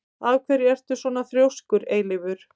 Af hverju ertu svona þrjóskur, Eilífur?